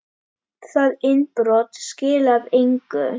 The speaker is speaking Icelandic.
Það innbrot skilaði engu.